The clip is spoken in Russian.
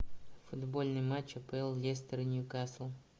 футбольный матч апл лестер ньюкасл